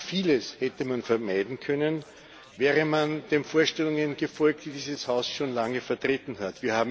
Vieles hätte man vermeiden können, wäre man den Vorstellungen gefolgt, die dieses Haus schon lange vertreten hat.